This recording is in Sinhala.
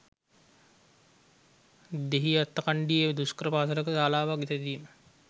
දෙහිඅත්තකන්ඩියේ දුෂ්කර පාසලක ශාලාවක් සෑදීම.